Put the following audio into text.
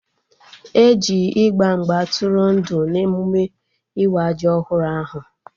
E ji ịgba mgba tụrụ ndụ na emụme ịwa ji ọhụrụ ahụ